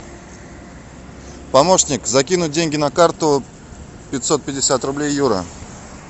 помощник закинуть деньги на карту пятьсот пятьдесят рублей юра